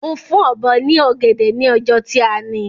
Mo fún Ọ̀bọ́ ní ọ̀gẹ̀dẹ̀ ni ọjọ́ tí a ni